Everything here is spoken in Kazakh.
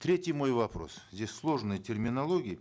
третий мой вопрос здесь сложная терминология